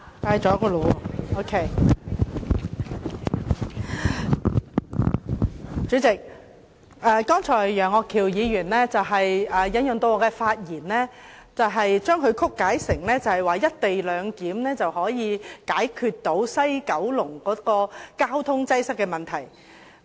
代理主席，楊岳橋議員剛才引述我的發言，將我的意思曲解成"一地兩檢"安排可以解決西九龍交通擠塞的問題。